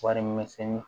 Warimisɛnni